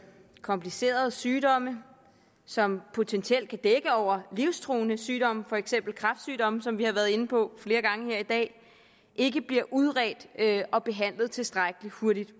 komplicerede sygdomme som potentielt kan dække over livstruende sygdomme for eksempel kræftsygdomme som vi har været inde på flere gange her i dag ikke bliver udredt og behandlet tilstrækkeligt hurtigt